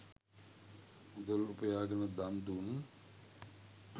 මුදල් උපයාගෙන දන්දුන්